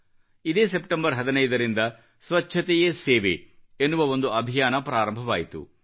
ಇದೇ ಸೆಪ್ಟೆಂಬರ್ 15 ರಿಂದ ಸ್ವಚ್ಚತೆಯೇ ಸೇವೆ ಎನ್ನುವ ಒಂದು ಅಭಿಯಾನ ಪ್ರಾರಂಭವಾಯಿತು